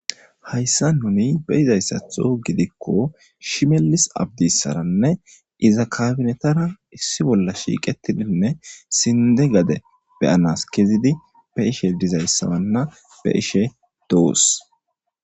Hayssa nuni beyizayssatho gidikko shimelis abdissaranne iza kabinetara issi bolla shiiqetidinne sinde gade beyanas kezidi be ishe dizayssabanna be ishe doos.